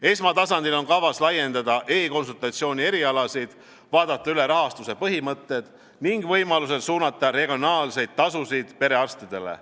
Esmatasandil on kavas laiendada e-konsultatsiooni erialasid, vaadata üle rahastuse põhimõtted ning võimalusel suunata regionaalseid tasusid perearstidele.